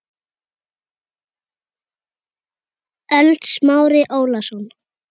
ÖLD Smári Ólason